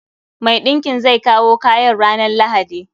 Mai ɗinkin zai kawo kayan ranan lahadi.